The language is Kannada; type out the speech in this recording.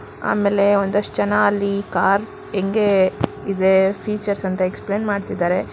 ಆಮೇಲೆ ಒಂದಷ್ಟ್ ಜನ ಅಲ್ಲಿ ಕಾರ ಹೆಂಗೆ ಇದೆ ಫೀಚರ್ಸ್ ಅಂತ ಎಕ್ಸ್ ಪ್ಲೇನ್ ಮಾಡ್ತಿದಾರೆ.